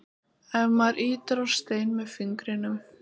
ef maður ýtir á stein með fingrinum